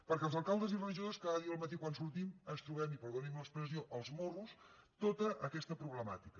perquè els alcaldes i regidors cada dia al matí quan sortim ens trobem i perdoni’m l’expressió als morros tota aquesta problemàtica